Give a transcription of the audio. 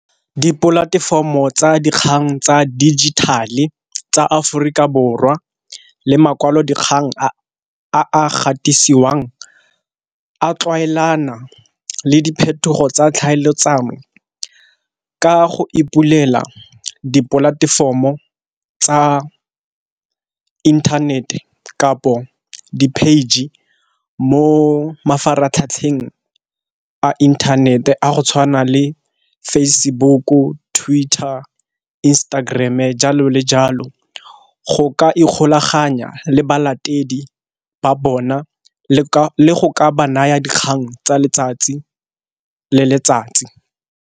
Dipolatefomo tsa dikgang tsa dijithale tsa Aforika Borwa le makwalodikgang a a gatisiwang a tlwaelana le diphetogo tsa tlhaeletsano, ka go ipulela dipolatefomo tsa inthanete kapo di-page mo mafaratlhatlheng a inthanete a go tshwana le Facebook-u, Twitter, Instagram-e, jalo le jalo, go ka ikgolaganya le balatedi ba bona le go ba naya dikgang tsa letsatsi le letsatsi.